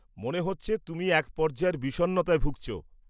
-মনে হচ্ছে তুমি এক পর্যায়ের বিষণ্ণতায় ভুগছ।